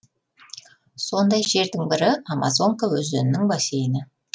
сондай жердің бірі амазонка өзенінің бассейні